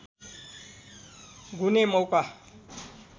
गुने मौका